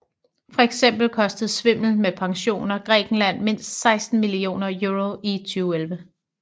Fx kostede svindel med pensioner Grækenland mindst 16 millioner euro i 2011